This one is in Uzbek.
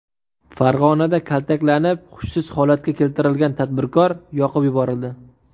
Farg‘onada kaltaklanib, hushsiz holatga keltirilgan tadbirkor yoqib yuborildi .